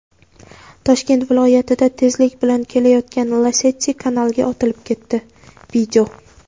Toshkent viloyatida tezlik bilan kelayotgan Lacetti kanalga otilib ketdi.